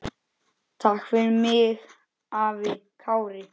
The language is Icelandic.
Takk fyrir mig, afi Kári.